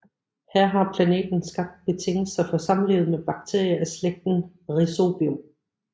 Her har planten skabt betingelser for samlivet med bakterier af slægten Rhizobium